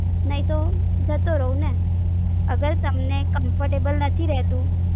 નાઈ તો જતો રાઉ ને અગર તમને Camptable નથી રેતુ